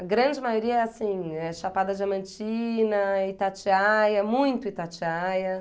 A grande maioria é assim, é Chapada Diamantina, Itatiaia, muito Itatiaia.